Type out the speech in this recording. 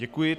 Děkuji.